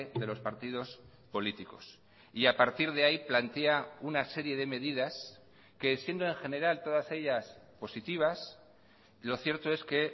de los partidos políticos y a partir de ahí plantea una serie de medidas que siendo en general todas ellas positivas lo cierto es que